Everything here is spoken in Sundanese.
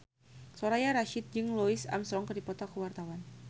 Soraya Rasyid jeung Louis Armstrong keur dipoto ku wartawan